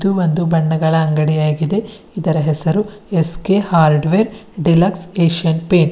ಒಂದು ಬಣ್ಣಗಳ ಅಂಗಡಿಯಾಗಿದೆ ಇದರ ಹೆಸರು S K hardware deluxe Asian paint .